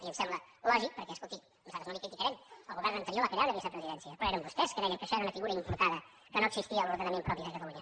i em sembla lògic perquè escolti nosaltres no li ho criticarem el govern anterior va crear una vicepresidència però eren vostès que deien que això era una figura importada que no existia a l’ordenament propi de catalunya